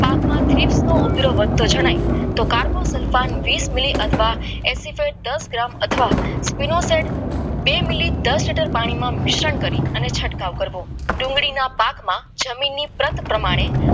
seat નો ઉપાધરાઓ વધતો જણાય ને કાર્પોસલમાન વીસ મિલી અથવા દસ ગ્રામમાં સલ્ફેટ બે મિલી પાણીમાં મિશ્રણ કરી ને છટકાવ કરવો ડુંગળીના પાકમાં જમીનની પરત પ્રમાણે